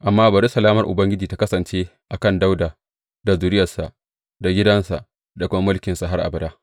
Amma bari salamar Ubangiji tă kasance a kan Dawuda da zuriyarsa, da gidansa, da kuma mulkinsa, har abada.